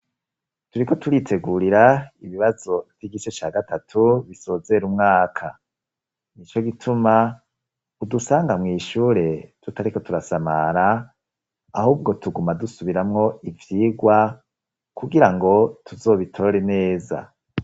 Turiko turitegurira ibibazo vy'igice ca gatatu bisozera umwaka. Nico gituma udusanga mwishure tutariko turasamara ahubwo tuguma dusubiramwo ivyigwa kugira ngo tuzobitore neza.